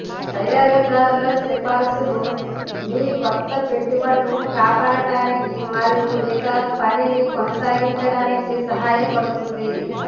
తయారీదారుల సిఫార్సులు మీ కొత్త పెట్టుబడులను కాపాడటానికి మరియు ఇక పనిని కొనసాగించడానికి సహాయపడుతుంది